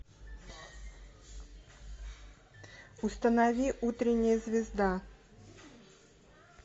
установи утренняя звезда